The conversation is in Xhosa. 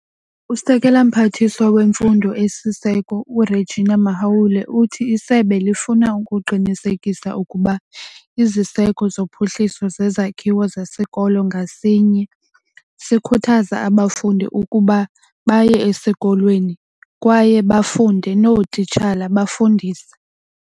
USekela Mphathiswa weMfundo esiSiseko u-Reginah Mhaule uthi isebe lifuna ukuqinisekisa ukuba iziseko zophuhliso zezakhiwo zesikolo ngasinye sikhuthaza abafundi ukuba baye esikolweni kwaye bafunde, nootitshala bafundise.